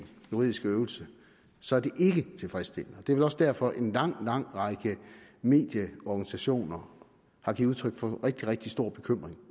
juridiske øvelse så er det ikke tilfredsstillende det er vel også derfor en lang lang række medieorganisationer har givet udtryk for rigtig rigtig stor bekymring